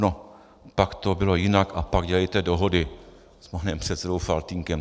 No pak to bylo jinak, a pak dělejte dohody s panem předsedou Faltýnkem.